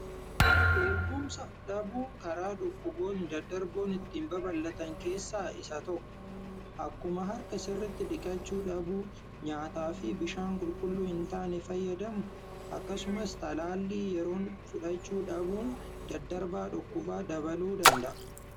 Eegumsa dhabuun karaalee dhukkubni ittiin daddarban keessaa isa tokkodha. Akkuma harka dhiqachuu dhabuu fi nyaataa fi dhugaatii qulqullina hin qabne fayyadamnu akkasumas talaallii fayyaa fudhachuu dhabuun carraa dhukkubaa dabaluu danda'a.